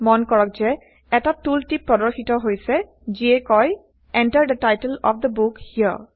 মন কৰক যে এটা টুল টিপ প্ৰদৰ্শিত হৈছে যিয়ে কয় Enter the title of the book here